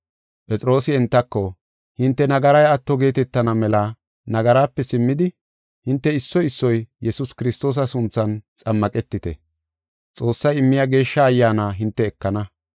Phexroosi entako, “Hinte nagaray atto geetetana mela nagaraape simmidi, hinte issoy issoy Yesuus Kiristoosa sunthan xammaqetite. Xoossay immiya Geeshsha Ayyaana hinte ekana.